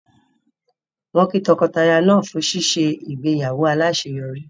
Wọ́n kí tọkọtaya náà fún ṣíṣe ìgbéyàwó aláṣeyọrí